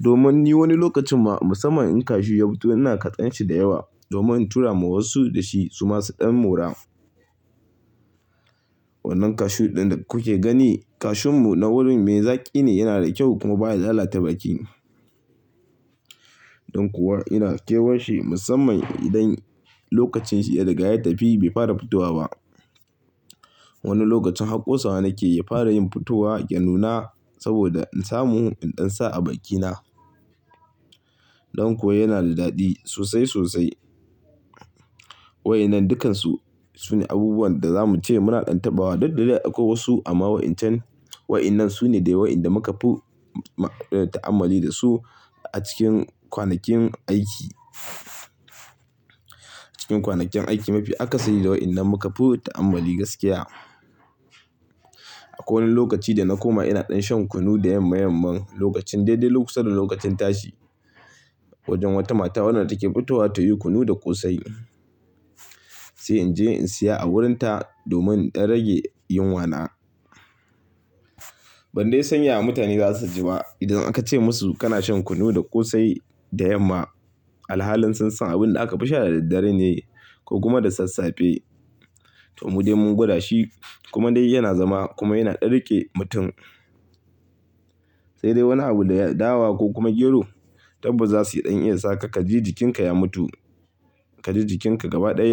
Domin ni wani lokacin ma musamman in cashew ya fito ina kaɗan shi da yawa, domin in tura ma wasu da shi su ma su ɗan mora. Wannan cashew ɗin da kuke gani, cashew mu na wurin mai zaƙi ne, yana da kyau kuma baya lalata baƙi. Don kuwa ina kewan shi, musamman idan lokacin shi ya riga ya tafi bai fara fitowa ba. Wani lokacin har ƙosawa nake ya fara yin fitowa, ya nuna saboda in samu in ɗan sa a baƙi na. Don kuwa yana da daɗi sosai sosai. Wa'yannan dukkansu, sune abubuwan da za mu ce muna ɗan tabbawa. Duk da dai akwai wasu, amma wa'incan, waɗannan sune dai waɗanda muka fi ta'ammali da su a cikin kwanakin aiki. Cikin kwanakin aiki mafi akasari da waɗannan muka fi ta'ammali gaskiya. Akwai wani lokaci da na koma ina ɗan shan kunu da yam mayamman lokacin daidai lokacin tashi wajen wata mata wadda take fitowa tayi kunu da ƙosai. Sai in je in siya a wurin ta, domin in ɗan rage yunwa na. Ban dai san yaya mutane za su ji ba, idan aka ce musu kana shan kunu da ƙosai, da yamma. Alhalin sun san abun da aka fi sha da daddare ne, ko kuma da sassafe. Toh, mu dai mun gwada shi, kuma dai yana zama, kuma yana ɗan riƙe mutum. Sai dai wani abu da dawa ko kuma gero, tabbas za su yi ɗan iya sa ka ka ji jikinka ya mutu, ka ji jikinka gaba ɗaya.